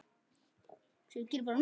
Þykkar varir.